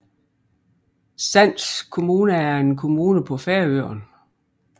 Sands kommuna er en kommune på Færøerne